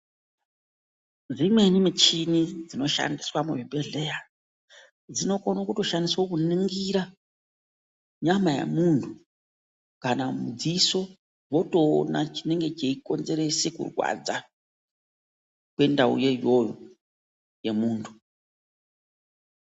Dzimweni michini dzinoshandiswa muzvibhehleya dzinokone kutoshandiswe kuningira nyama yemuntu. Kana mudziso votoona chinenge cheikonzerese kurwadza kwendauyo iyoyo yemuntu.